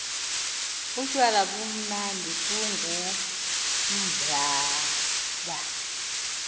utywala bumnandi bungumblaba